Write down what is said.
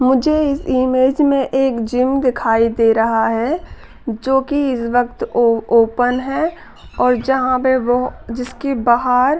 मुझे एक इमेज में एक जिम दिखाई दे रहा है जोकि इस वक्त ओ ओपन है और जहाँ पे भो जिसकी बहार --